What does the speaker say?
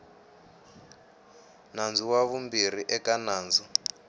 nandzu ra vumbirhi eka nandzu